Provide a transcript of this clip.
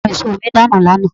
Àwọn èso mi dànù lánàá.